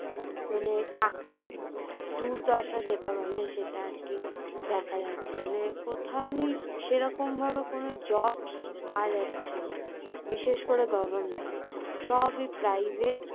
মানে চাকরির দুর্দশা মানে যেটা সেটা আরকি দেখা যাচ্ছে মানে কোথাওই সেরকম ভাবে কোনো jobs পাওয়া যাচ্ছে না। বিশেষ করে government সবই private